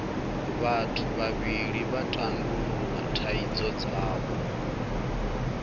vhathu vhavhili vha tandulula thaidzo dzavho